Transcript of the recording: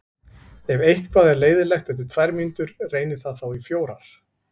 Ef eitthvað er leiðinlegt eftir tvær mínútur, reynið það þá í fjórar.